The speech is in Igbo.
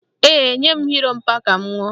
Ee, nye m ọ́ọ̀ mpa ka m ṅụọ